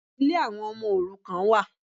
Ilé àwọn ọmọ òrukàn wà.